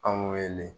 Anw wele